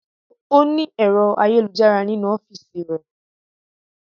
Ọ́ ní ẹ̀rọ ayélujára nínú ọ́fìsì rẹ̀